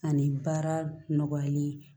Ani baara nɔgɔyali